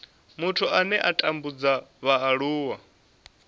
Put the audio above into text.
muthu ane a tambudza vhaaluwa